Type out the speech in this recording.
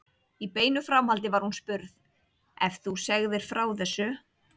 Í beinu framhaldi var hún spurð: Ef þú segðir frá þessu?